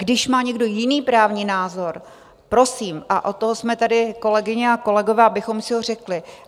Když má někdo jiný právní názor, prosím - a od toho jsme tady, kolegyně a kolegové, abychom si ho řekli.